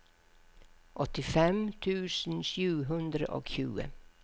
åttifem tusen sju hundre og tjue